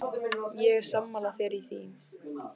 Ég er sammála þér í því.